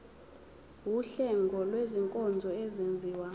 wuhlengo lwezinkonzo ezenziwa